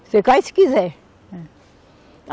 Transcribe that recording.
Você cai se quiser. Eh